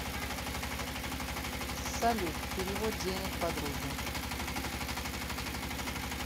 салют перевод денег подруге